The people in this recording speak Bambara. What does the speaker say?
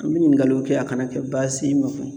An bɛ ɲininkaliw kɛ a kana kɛ baasi ye i ma